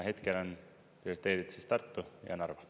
Hetkel on projekteeritud Tartu ja Narva.